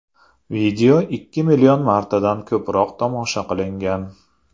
Video ikki million martadan ko‘proq tomosha qilingan.